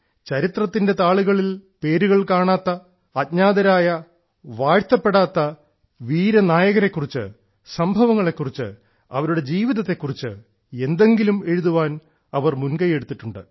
ചരിത്രത്തിലെ താളുകളിൽ പേരുകൾ കാണാത്ത അജ്ഞാതരായ വാഴ്ത്തപ്പെടാത്ത വീരനായകരെ കുറിച്ച് സംഭവങ്ങളെക്കുറിച്ച് അവരുടെ ജീവിതങ്ങളെ കുറിച്ച് ജീവിതത്തെക്കുറിച്ച് എന്തെങ്കിലും എഴുതാൻ അവർ മുൻകൈ എടുത്തിട്ടുണ്ട്